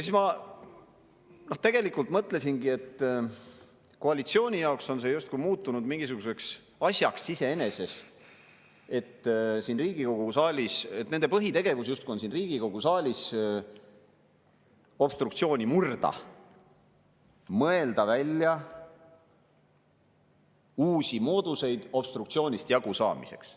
Siis ma mõtlesingi, et koalitsiooni jaoks on see justkui muutunud mingisuguseks asjaks iseeneses, nende põhitegevus siin Riigikogu saalis justkui on obstruktsiooni murda, mõelda välja uusi mooduseid obstruktsioonist jagusaamiseks.